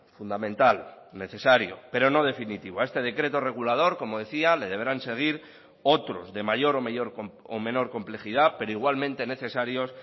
fundamental necesario pero no definitivo a este decreto regulador como decía le deberán seguir otros de mayor o menor complejidad pero igualmente necesarios